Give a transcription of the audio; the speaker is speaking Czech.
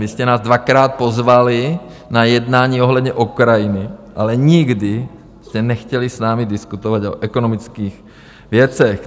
Vy jste nás dvakrát pozvali na jednání ohledně Ukrajiny, ale nikdy jste nechtěli s námi diskutovat o ekonomických věcech.